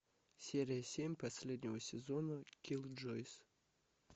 серия семь последнего сезона киллджойс